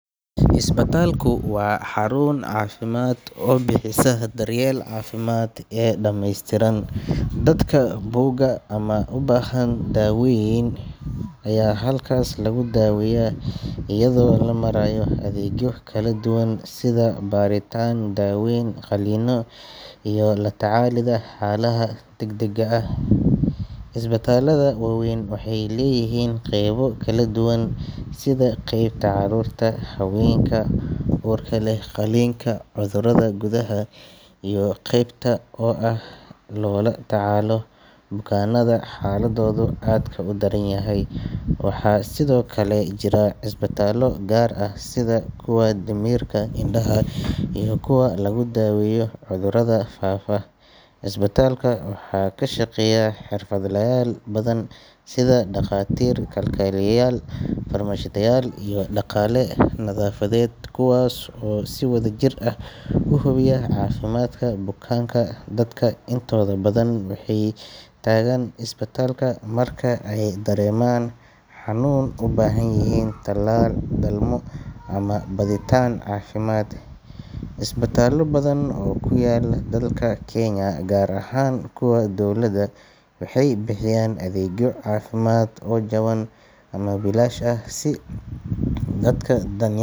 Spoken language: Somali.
Isbitaalku waa xarun caafimaad oo bixisa daryeel caafimaad oo dhammeystiran. Dadka buka ama u baahan daaweyn ayaa halkaas lagu daaweeyaa iyadoo loo marayo adeegyo kala duwan sida baaritaan, daaweyn, qalliino iyo la tacaalidda xaaladaha degdegga ah. Isbitaallada waaweyn waxay leeyihiin qaybo kala duwan sida qeybta carruurta, haweenka uurka leh, qalliinka, cudurrada gudaha, iyo qeybta ICU oo ah halka loola tacaalo bukaanada xaaladoodu aadka u daran tahay. Waxaa sidoo kale jira isbitaallo gaar ah sida kuwa dhimirka, indhaha, iyo kuwa lagu daaweeyo cudurrada faafa. Isbitaalka waxaa ka shaqeeya xirfadlayaal badan sida dhakhaatiir, kalkaaliyeyaal, farmashiistayaal, iyo shaqaale nadaafadeed kuwaas oo si wadajir ah u hubiya caafimaadka bukaanka. Dadka intooda badan waxay tagaan isbitaalka marka ay dareemaan xanuun, u baahan yihiin talaal, dhalmo, ama baadhitaan caafimaad. Isbitaallo badan oo ku yaal dalka Kenya, gaar ahaan kuwa dowladda, waxay bixiyaan adeegyo caafimaad oo jaban ama bilaash ah si dadka danyarta ah.